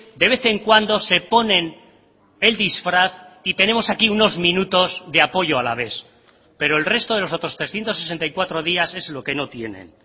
de vez en cuando se ponen el disfraz y tenemos aquí unos minutos de apoyo alavés pero el resto de los otros trescientos sesenta y cuatro días es lo que no tienen